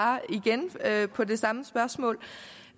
ja at på det samme spørgsmål